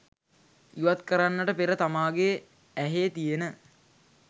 ඉවත් කරන්නට පෙර තමාගේ ඇහේ තියෙන